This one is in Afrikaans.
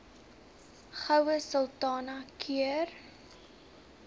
goue sultana keur